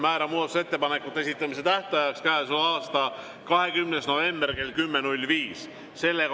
Määran muudatusettepanekute esitamise tähtajaks käesoleva aasta 20. novembri kell 10.05.